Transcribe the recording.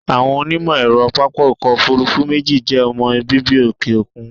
Àwọn onímọ̀ ẹ̀rọ pápá ọkọ̀ òfúrúfú méjì jẹ́ ọmọ bíbí òkè òkun.